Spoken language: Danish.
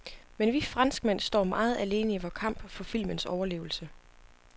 Men vi franskmænd står meget alene i vor kamp for filmens overlevelse.